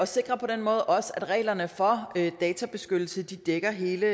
sikrer på den måde også at reglerne for databeskyttelse dækker hele